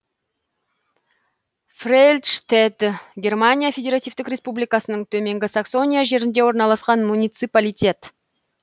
фрельштедт германия федеративтік республикасының төменгі саксония жерінде орналасқан муниципалитет